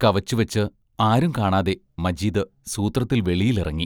കവച്ചുവച്ച് ആരും കാണാതെ മജീദ് സൂത്രത്തിൽ വെളിയിൽ ഇറങ്ങി.